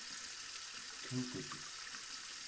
Tunguhlíð